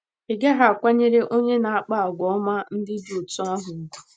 Ị̀ gaghị akwanyere onye na - akpa àgwà ọma ndị dị otú ahụ ùgwù?